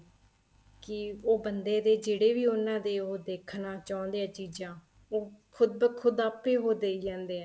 ਕੀ ਉਹ ਬੰਦੇ ਦੇ ਜਿਹੜੇ ਵੀ ਉਹਨਾ ਦੇ ਉਹ ਦੇਖਣਾ ਚਾਹੁੰਦੇ ਹੈ ਚੀਜ਼ਾਂ ਉਹ ਖੁੱਦ ਬਾ ਖੁੱਦ ਆਪੇ ਉਹ ਦਈ ਜਾਂਦੇ ਏ